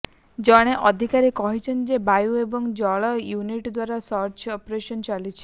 ଜଣେ ଅଧିକାରୀ କହିଛନ୍ତି ଯେ ବାୟୁ ଏବଂ ସ୍ଥଳ ୟୁନିଟ୍ ଦ୍ୱାରା ସର୍ଚ୍ଚ ଅପରେସନ୍ ଚାଲିଛି